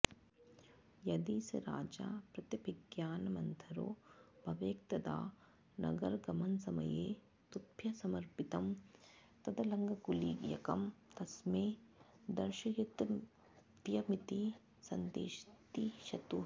यदि स राजा प्रत्यभिज्ञानमन्थरो भवेत्तदा नगरगमनसमये तुभ्यमर्पितं तदङ्गुलीयकं तस्मै दर्शयितव्यमिति संदिदिशतुः